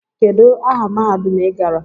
Kedu aha mahadum i gara?